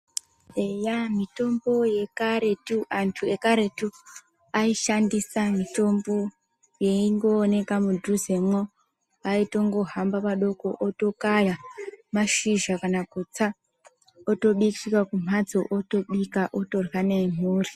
Eya mitombo yekaretu, antu ekaretu aishandisa mitombo yaingooneka mudhuzemwo. Aitongohamba padoko otokaya mashizha kana kutsa otosvikira kumhatso otobika otorya nemhuri.